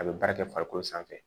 A bɛ baara kɛ farikolo sanfɛ